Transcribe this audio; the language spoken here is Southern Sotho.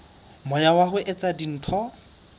moya wa ho etsa dintho